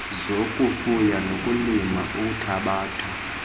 zokufuya nokulima uthabatho